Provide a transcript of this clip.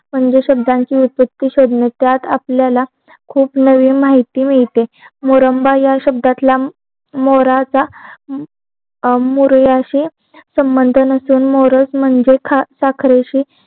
म्हणजे शब्दांची उत्पत्ती शोधणे त्यात आपल्याला खूप नवीन मीहिती मिळते मोरंबा या शब्दातला मोर याशी संबंधित मोर म्हणजे साखरेची